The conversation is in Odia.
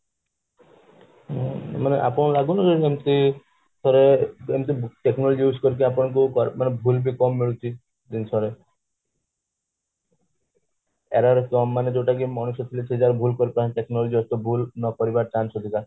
ହୁଁ ମାନେ ଆପଣଙ୍କୁ ଲାଗୁନି ମାନେ ଥରେ technology use କରିକି ଆପଣଙ୍କୁ ମାନେ ଭୁଲ ବି କମ ମିଳୁଛି ଜିନିଷରେ error କମ ମାନେ ଯୋଉଟା କି ମଣିଷ ଥିଲେ ସେଇ ଜାଗାରେ ଭୁଲ କରି ପାରନ୍ତେ technology ଅଛି ତ ଭୁଲ କରିବାର chance ଅଧିକା